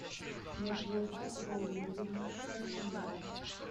надежда валерьевна шатилова